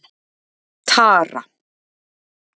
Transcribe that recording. Tara